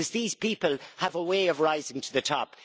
These people have a way of rising to the top.